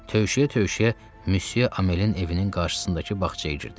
Tövşüyə-tövşüyə Müsye Amelin evinin qarşısındakı bağçaya girdim.